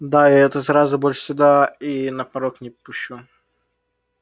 да я эту заразу больше сюда и на порог не пущу